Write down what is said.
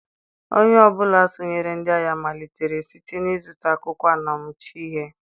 Onye ọ bụla sonyeere ndị agha malitere site n'ịzụta akwụkwọ anamachọ ihe.